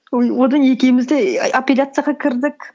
үй одан екеуміз де і апелляцияға кірдік